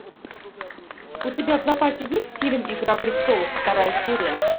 у тебя в запасе есть фильм игра престолов вторая серия